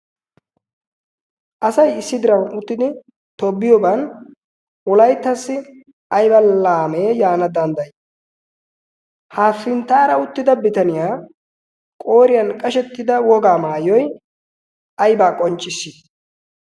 asai issi diran uttidi toobiyooban wolaittassi aiba laamee yaana danddayi? haafinttaara uttida bitaniyaa qooriyan qashettida wogaa maayyoi aibaa qonchcissi?